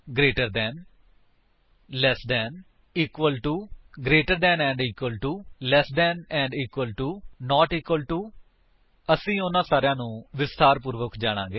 greater than ਵਲੋਂ ਜਿਆਦਾ less than ਵਲੋਂ ਘੱਟ 000113 000013 ਇਕਵਲ ਟੂ ਦੇ ਬਰਾਬਰ ਗਰੇਟਰ ਦੈਨ ਅਤੇ ਇਕਵਲ ਟੂ ਵਲੋਂ ਬਹੁਤ ਜਾਂ ਬਰਾਬਰ ਲੈਸ ਦੈਨ ਅਤੇ ਇਕਵਲ ਟੂ ਵਲੋਂ ਘੱਟ ਜਾਂ ਬਰਾਬਰ ਨਾਟ ਇਕਵਲ ਟੂ ਦੇ ਬਰਾਬਰ ਨਹੀਂ ਅਸੀ ਉਨ੍ਹਾਂ ਸਾਰਿਆਂ ਨੂੰ ਵਿਸਥਾਰ ਪੂਰਵਕ ਜਾਣਾਗੇ